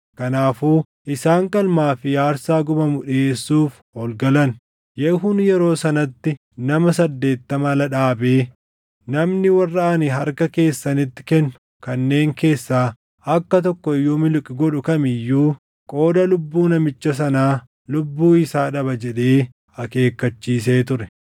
Kanaafuu isaan qalmaa fi aarsaa gubamu dhiʼeessuuf ol galan. Yehuun yeroo sanatti nama saddeettama ala dhaabee, “Namni warra ani harka keessanitti kennu kanneen keessaa akka tokko iyyuu miliqu godhu kam iyyuu qooda lubbuu namicha sanaa lubbuu isaa dhaba” jedhee akeekkachiisee ture.